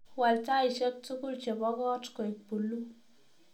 Waal taishek tugul chebo koot koek puluu